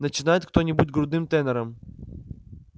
начинает кто-нибудь грудным тенором